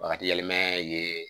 Bakaji yɛlɛma ye